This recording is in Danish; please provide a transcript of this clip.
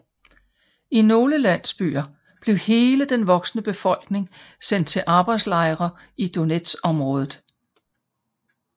I nogle landsbyer blev hele den voksne befolkning sendt til arbejdslejre i Donetsområdet